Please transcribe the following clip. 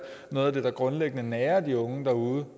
noget der grundlæggende nager de unge derude